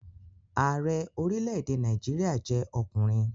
Ààrẹ orílẹ̀-èdè Nàìjíríà jẹ́ ọkùnrin